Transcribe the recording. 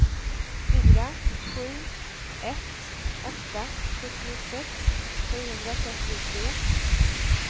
fyra sju ett åtta sjuttiosex sjuhundratrettiotre